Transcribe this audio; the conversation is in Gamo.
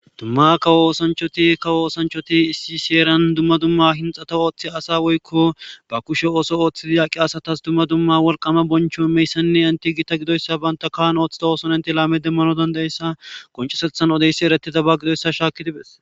dumma kawo oosanchoti kawo oosanchoti issi seeran dumma dumma hinxata ooththi asa woykko ba kushe ooso ooththidi yaaqi asatas dumma dumma wolqama boncho meyssanne anti gita gidoyssa baynta kaan ooththida ooson enti laame demmano dandayssa qoncesethan odeysi eretiza ba gidoyssa shaaki dibes